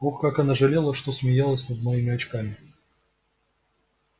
ох как она жалела что смеялась над моими очками